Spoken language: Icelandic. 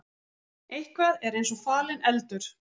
Eitthvað er eins og falinn eldur